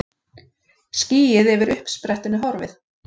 Skýið yfir uppsprettunni horfið.